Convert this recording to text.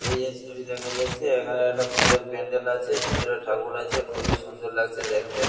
এইযে ছবি দেখা যাচ্ছে এখানে একটা পুজোর প্যান্ডেল আছে ভেতরে ঠাকুর আছে খুবই সুন্দর লাগছে দেখতে।